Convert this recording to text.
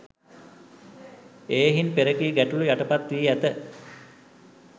එහෙයින් පෙරකී ගැටළු යටපත් වී ඇත